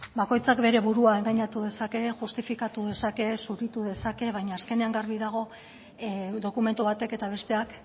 bakoitzak bere burua engainatu dezake justifikatu dezake zuritu dezake baina azkenean garbi dago dokumentu batek eta besteak